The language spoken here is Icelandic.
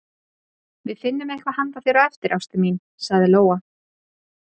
Við finnum eitthvað handa þér á eftir, ástin mín, sagði Lóa.